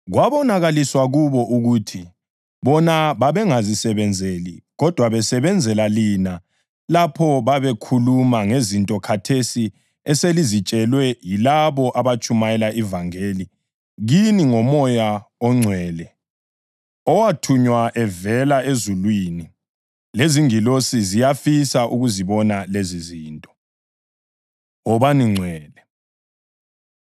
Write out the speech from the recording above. Kwabonakaliswa kubo ukuthi bona babengazisebenzeli kodwa besebenzela lina lapho babekhuluma ngezinto khathesi eselizitshelwe yilabo abatshumayele ivangeli kini ngoMoya oNgcwele owathunywa evela ezulwini. Lezingilosi ziyafisa ukuzibona lezizinto. Wobani Ngcwele